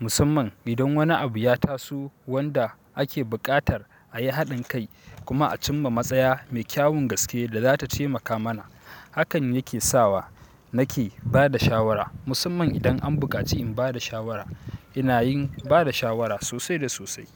Musamman idan wani abu ya taso, wanda ake buƙatar a yi haɗin kai kuma a cimma matsaya mai kyawun gaske da za ta taimaka mana. Hakan yake sawa, nake ba da shawara. Musamman idan an buƙaci in bada shawara, inayin bada shawara sosai da sosai.